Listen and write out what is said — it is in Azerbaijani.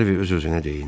Harvi öz-özünə deyinir: